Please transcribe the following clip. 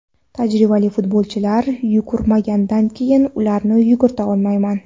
Tajribali futbolchilar yugurmagandan keyin ularni yugurtira olmayman.